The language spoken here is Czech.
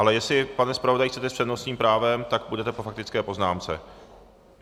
Ale jestli, pane zpravodaji, chcete s přednostním právem, tak půjdete po faktické poznámce.